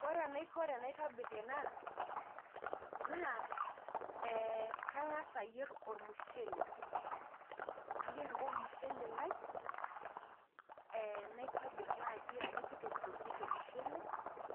Ore enaiko tenaitobir ena, naa, kang'as ayier ormushele. Nayier ake ormushele lai, naitobir naji amu kitokitokieki ormushele,